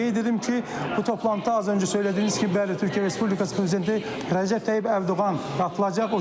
Qeyd edim ki, bu toplantıda az öncə söylədiyiniz kimi bəli Türkiyə Respublikası prezidenti Rəcəb Tayyib Ərdoğan qapılacaq,